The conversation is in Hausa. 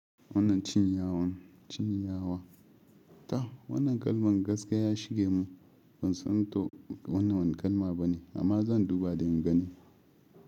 Wannan cinyawa, ta wannan kalman gaskiya ya shige mun. Ban santo wannan wane kalma bane amma zan duba don in gani.